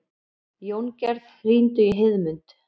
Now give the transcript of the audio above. Jóngerð, hringdu í Heiðmund.